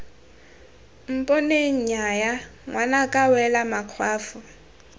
mponeng nnyaya ngwanaka wela makgwafo